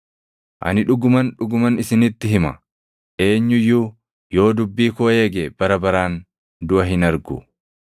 Ani dhuguman, dhuguman isinitti hima; eenyu iyyuu yoo dubbii koo eege bara baraan duʼa hin argu.”